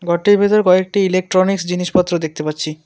ঘরটির ভিতর কয়েকটি ইলেকট্রনিক্স জিনিসপত্র দেখতে পাচ্ছি।